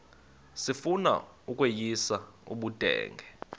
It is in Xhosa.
sifuna ukweyis ubudenge